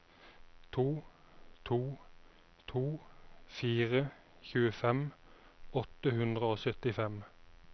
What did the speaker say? to to to fire tjuefem åtte hundre og syttifem